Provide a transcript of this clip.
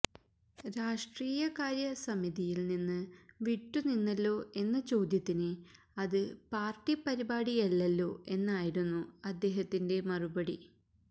രാഷ്ട്രീയകാര്യ സമിതിയില് നിന്ന് വിട്ടു നിന്നല്ലോ എന്ന ചോദ്യത്തിന് അത് പാര്ട്ടി പരിപാടിയല്ലല്ലോ എന്നായിരുന്നു അദ്ദേഹത്തിന്റെ മറുപടി